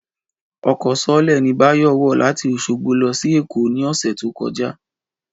Ọkọ̀ sọọ́lẹ̀ ni Báyọ̀ wọ̀ láti Oṣogbo lọ sí Èkó ní ọ̀sẹ̀ tó kọjá